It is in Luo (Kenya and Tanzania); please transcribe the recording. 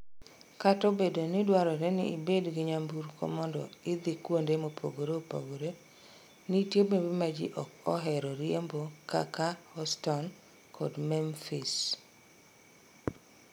Kata obedo ni dwarore ni ibed gi nyamburko mondo idhi kuonde mopogre opogre, nitie bombe ma ji ok ohero riembo kaka Houston kod Memphis.